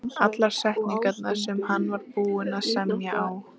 Allar setningarnar, sem hann var búinn að semja á